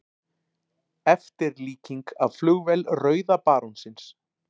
Eftirlíking af flugvél rauða barónsins.